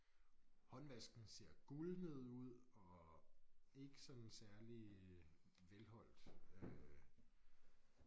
Håndvasken ser gulnet ud og ikke sådan særlig velholdt øh